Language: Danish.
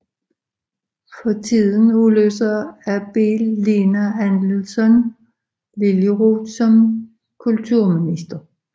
For tiden afløser Abele Lena Adelsohn Liljeroth som kulturminister